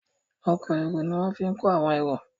Ọkọ̀ èrò ní wón fí kò àwọn èrò